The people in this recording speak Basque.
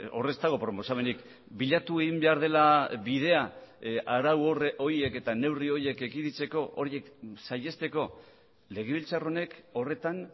hor ez dago proposamenik bilatu egin behar dela bidea arau horiek eta neurri horiek ekiditeko horiek saihesteko legebiltzar honek horretan